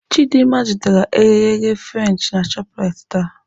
Chidimma zụtara eghereghe French na Shoprite taa.